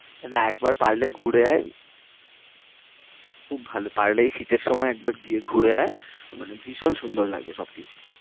না একবার পারলে ঘুরে আয়। খুব ভালো পারলে এই শীতের সময় একবার গিয়ে ঘুরে আয়। মানে ভীষণ সুন্দর লাগবে সবকিছু।